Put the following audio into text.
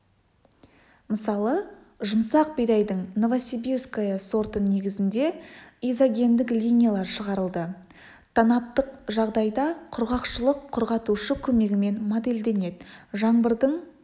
мысалы жұмсақ бидайдың новосибирская сорты негізінде изогендік линиялар шығарылды танаптық жағдайда құрғақшылық құрғатушы көмегімен модельденеді жаңбырдың